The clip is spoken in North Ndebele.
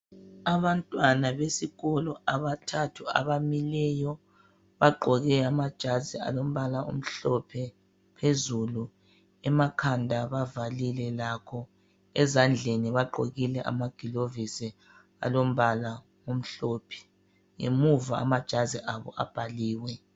abantwana besikolo abathathu abamileyo bagqoke amajazi alompala omhlophe phezulu emakhanda bavalile lapho ezandleni bagqokile amagulovisi alompala emihlophe ngemuva amajazi abo abhaliwe